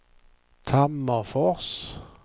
Tammerfors